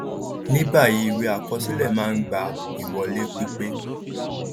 ni báyìíìwé àkọsílẹ máa ń gba ìwọlé pípé